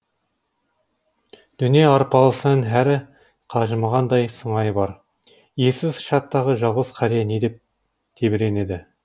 дүние арпалысынан әрі қажымағандай сыңайы бар иесіз шаттағы жалғыз қария не деп тебіренеді